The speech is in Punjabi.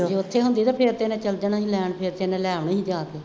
ਜੇ ਉਦੋਂ ਉੱਥੇ ਹੁੰਦੀ ਤਾਂ ਫੇਰ ਤੇ ਇਹਨੇ ਚੱਲ ਜਾਣਾ ਸੀ ਲੈਣ, ਫੇਰ ਤੇ ਇਹਨੇ ਲੈ ਆਉਣੀ ਸੀ ਜਾ ਕੇ